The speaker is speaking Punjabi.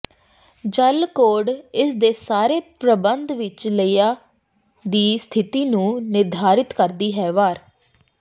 ਜਲ ਕੋਡ ਇਸ ਦੇ ਸਾਰੇ ਪ੍ਰਬੰਧ ਵਿੱਚ ਲਿਆ ਦੀ ਸਥਿਤੀ ਨੂੰ ਨਿਰਧਾਰਿਤ ਕਰਦੀ ਹੈ ਵਾਰ